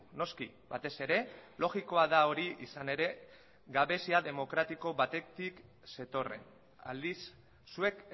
noski batez ere logikoa da hori izan ere gabezia demokratiko batetik zetorren aldiz zuek